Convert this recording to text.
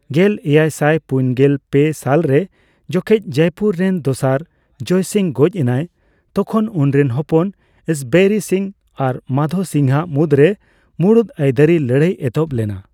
ᱜᱮᱞᱮᱭᱟᱭᱥᱟᱭ ,ᱯᱩᱱᱜᱮᱞ ᱯᱮ ᱥᱟᱞᱨᱮ ᱡᱚᱠᱷᱮᱡ ᱡᱚᱭᱯᱩᱨ ᱨᱮᱱ ᱫᱚᱥᱟᱨ ᱡᱚᱭ ᱥᱤᱝ ᱜᱚᱡᱽ ᱮᱱᱟᱭ, ᱛᱚᱠᱷᱚᱱ ᱩᱱᱤᱨᱮᱱ ᱦᱚᱯᱚᱱ ᱤᱥᱵᱚᱨᱤ ᱥᱤᱝ ᱟᱨ ᱢᱟᱫᱷᱳ ᱥᱤᱝ ᱼᱟᱜ ᱢᱩᱫᱨᱮ ᱢᱩᱲᱩᱛ ᱟᱹᱭᱫᱟᱨᱤ ᱞᱟᱹᱲᱦᱟᱹᱭ ᱮᱛᱚᱦᱚᱵ ᱞᱮᱱᱟ᱾